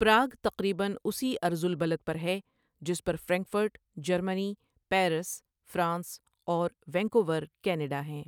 Prague تقریباً اسی عرض البلد پر ہے جس پر فرینکفرٹ، جرمنی، پیرس، فرانس، اور وینکوور، کینیڈا ہیں۔